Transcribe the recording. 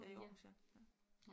I Aarhus ja ja